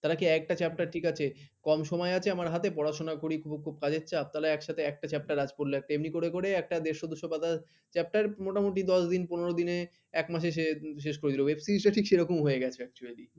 তারা কি এক একটা chapter ঠিক আছে কম সময় আছে আমার হাতে পড়াশোনা করি খুব কাজের চাপ একসঙ্গে একটা chapter আজ পরলে হয় এমনি করে একটা দেড়শ দুইশ পাতার chapter মোটামুটি দশ দিন পনের দিনে এক মাসের শেষ শেষ করে দিল web series web series ঠিক সেরকম হয়ে গেছে actually